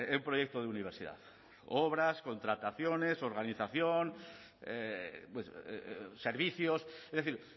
un proyecto de universidad obras contrataciones organización servicios es decir